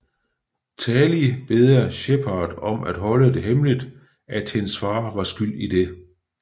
Tali beder Shepard om at holde det hemmeligt at hendes far var skyld i det